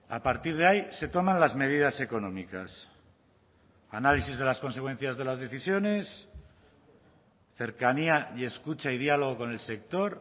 a partir de ahí se toman las medidas económicas análisis de las consecuencias de las decisiones cercanía y escucha y diálogo con el sector